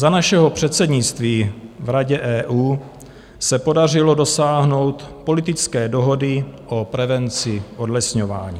Za našeho předsednictví v Radě EU se podařilo dosáhnout politické dohody o prevenci odlesňování.